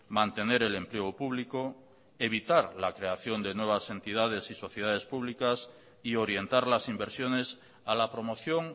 mantener el empleo público evitar la creación de nuevas entidades y sociedades públicas y orientar las inversiones a la promoción